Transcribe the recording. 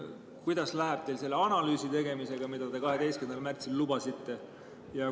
Kuidas läheb teil selle analüüsi tegemisega, mida te 12. märtsil lubasite?